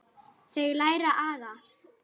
Þau læra aga.